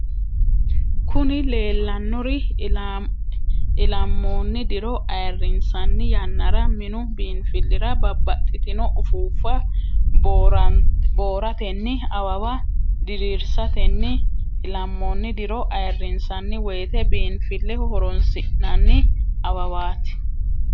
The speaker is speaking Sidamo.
kuni leellanori ilamoonni diro ayirinsanni yannara minu biinfilira babbaxxitinno ufuuffa booratenni awawa diriirsatenni ilamoonni diro ayirinssanni woyite biinfileho horoonsi'nanni awawaati.